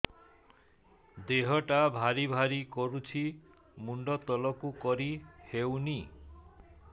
ଦେହଟା ଭାରି ଭାରି କରୁଛି ମୁଣ୍ଡ ତଳକୁ କରି ହେଉନି